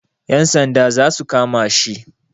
Yan sanda za su kama shi.